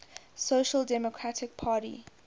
social democratic party